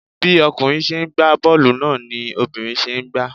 Bí ọkùnrin ṣe ń gba boolu náà ni obìnrin ṣe ń gba.